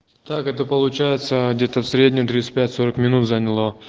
так это получается где-то в среднем тридцать пять сорок минут заняло